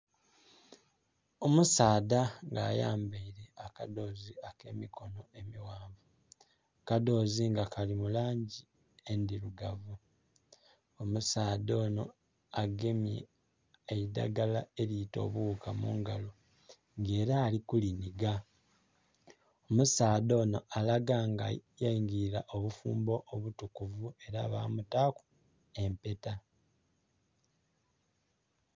Omusaadha nga ayambaile akadhoozi ak'emikono emighanvu. Akadhoozi nga kali mu langi endhilugavu . Omusaadha onho agemye eidhagala eliita obughuka mu ngalo nga ela ali ku linhiga. Omusaadha onho alaga nga yaingila obufumbo obutukuvu ela ba mutaaku empeta.